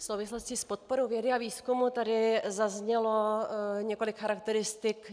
V souvislosti s podporou vědy a výzkumu tady zaznělo několik charakteristik.